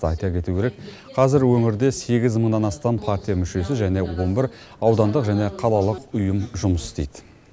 айта кету керек қазір өңірде сегіз мыңнан астам партия мүшесі және он бір аудандық және қалалық ұйымы жұмыс істейді